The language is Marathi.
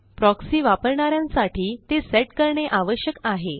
प्रॉक्सी वापरणा यांसाठी ते सेट करणे आवश्यक आहे